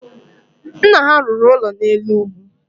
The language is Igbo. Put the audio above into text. Nna ha rụrụ ụlọ n’elu ugwu